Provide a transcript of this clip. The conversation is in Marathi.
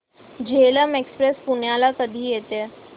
झेलम एक्सप्रेस पुण्याला कधी येते